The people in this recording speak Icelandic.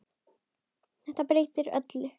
Þetta breytti öllu.